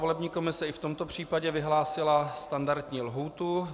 Volební komise i v tomto případě vyhlásila standardní lhůtu.